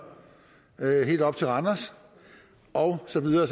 helt op til randers og så videre